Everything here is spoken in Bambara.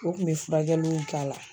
O kun bɛ furakɛliw k'a la.